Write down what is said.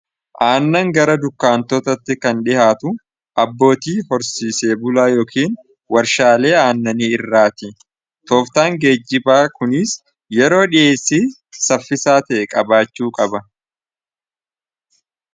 Aannan gara dukkaantootatti kan dhihaatu abbootii horsiisee bulaa yookiin warshaalee aannanii irraati tooftaan geejjibaa kuniis yeroo dhiheessii saffisaa ta'e qabaachuu qaba.